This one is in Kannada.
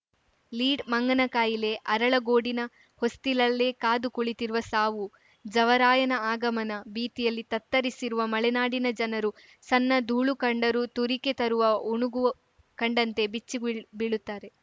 ಲೀಡ್‌ ಮಂಗನಕಾಯಿಲೆ ಅರಳಗೋಡಿನ ಹೊಸ್ತಿಲಲ್ಲೇ ಕಾದು ಕುಳಿತಿರುವ ಸಾವು ಜವರಾಯನ ಆಗಮನ ಭೀತಿಯಲ್ಲಿ ತತ್ತರಿಸಿರುವ ಮಲೆನಾಡಿನ ಜನರು ಸಣ್ಣ ಧೂಳು ಕಂಡರೂ ತುರಿಕೆ ತರುವ ಉಣುಗು ಕಂಡಂತೆ ಬೆಚ್ಚಿಬೀಳುತ್ತಾರೆ